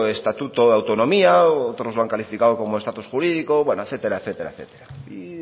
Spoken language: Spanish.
estatuto de autonomía otros lo han calificado como estatus jurídico bueno etcétera etcétera etcétera y